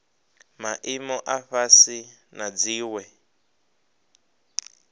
maimo a fhasi na dziwe